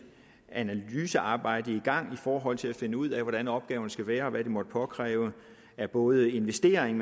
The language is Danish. analysearbejde i gang i forhold til at finde ud af hvordan opgaven skal være og hvad det måtte påkræve af både investeringer